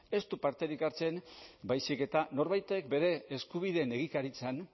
ez du parterik hartzen baizik eta norbaitek bere eskubideen egikaritzan